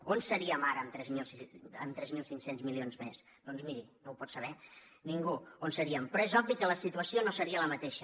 on seríem ara amb tres mil cinc cents milions més doncs miri no ho pot saber ningú on seríem però és obvi que la situació no seria la mateixa